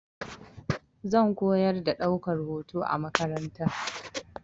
Zan koyar da ɗaukar hoto a makaranta.